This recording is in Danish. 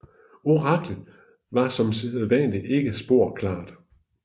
Oraklet var som sædvanligt ikke spor klart